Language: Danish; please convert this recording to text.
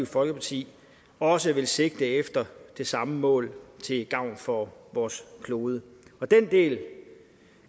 folkeparti også vil sigte efter det samme mål til gavn for vores klode det